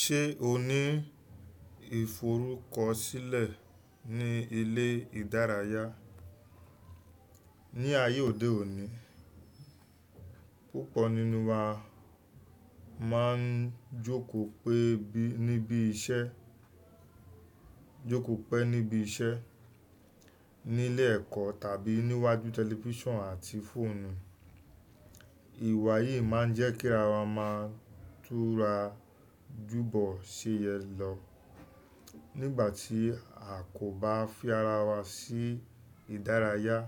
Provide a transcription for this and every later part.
Ṣe o ni iforukọsilẹ ni ile idaraya? Ni aye ode oni, pupọ ninu wa maa n joko pẹ nibi iṣẹ, joko pẹ nibi iṣẹ, ni ile ẹkọ tabi niwaju tẹlifision ati foonu. Iwa yii maa n jẹ ki ara wa maa n tura jubọ ṣe yẹ lọ. Nigbati a ko ba fi ara wa si idaraya,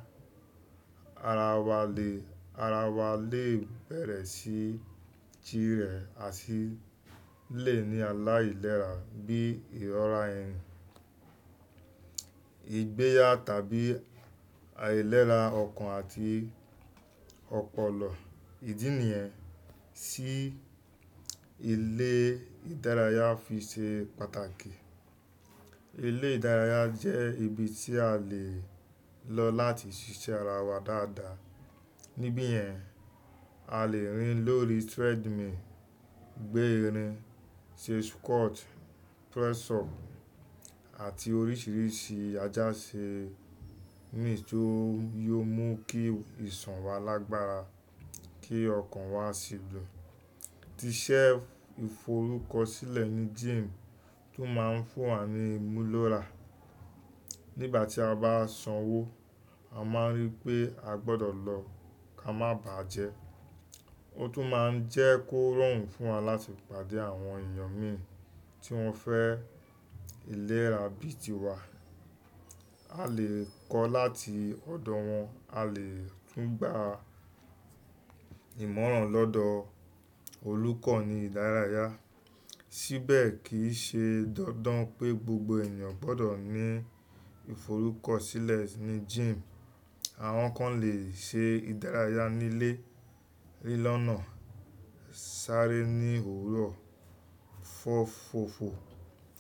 ara wa le, ara wa le bẹrẹ si tire ati le ni alailera bi irora ẹyin, igbeya tabi alailera ọkan ati ọpọlọ. Idi niyẹn, si ile idaraya fi ṣe pataki. Ile idaraya jẹ ibi ti a le lọ lati ṣiṣẹ ara wa dada. Nibi yẹn, a le rin lori treadmill, gbe irin, ṣe squat, press up ati oriṣiriṣi ajase mi tó yóò mú kí ìsan wa lágbára, kí ọkan wa si dun. Tiṣẹ iforukọsilẹ ni gym tun maa n fun wa ni imulora. Nigbati a ba sanwo, a maa n rii pe a gbọdọ lọ ka ma ba jẹ. O tun maa n jẹ korun fun wa lati pade awọn eniyan min ti wọn fẹ ilera bii tiwa. A le kọ lati ọdọ wọn, a le tun gba imọran lọdọ olukọ ni idaraya. Sibẹ ki i ṣe dandan pé gbogbo ènìyàn gbọdọ ni iforukọsilẹ ni gym. Awọn kan le ṣe idaraya ni ile, lilọ na, sare ni owurọ, fọ fofo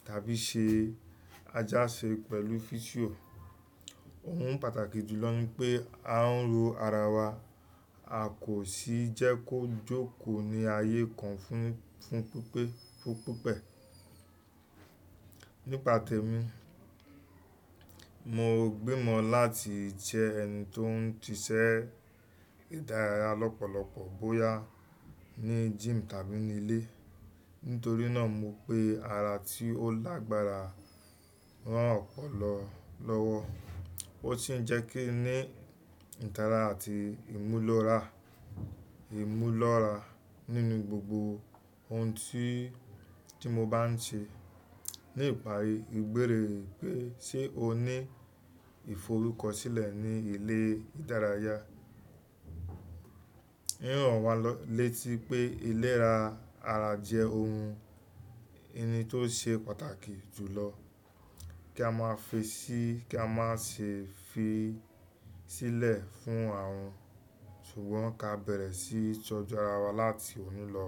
tabi ṣe ajase pẹlu physio. Ohun pataki julọ ni pe a n lo ara wa, a ko si jẹ ko joko ni aye kan fun, fun pipe, fun pipẹ. Nipa tẹmi, mo gbe mọ lati jẹ ẹni to n tiṣẹ idaraya lọpọlọpọ boya ni gym tabi ni ile. Nitori naa mo pe ara ti o lagbara ran ọpọlọ lọwọ. O si n jẹ kin ni itara ati imulora, imulora ninu gbogbo ohun ti, ti mo ba n ṣe. Ni ipari, igbẹrẹ pe ṣe o ni iforukọsilẹ ni ile idaraya. Riran wa lọ létí pé ilera ara jẹ ohun, ẹni to ṣe pàtàkì jùlọ. Ki a maa fẹ si, ki a maa ṣe fi silẹ fun arun, ṣugbọn ka bẹrẹ si tọju ara wa lati oni lọ.